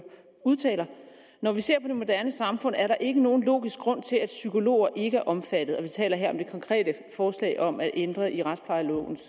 udtaler når vi ser på det moderne samfund er der ikke nogen logisk grund til at psykologer ikke er omfattet vi taler her om det konkrete forslag om at ændre i retsplejelovens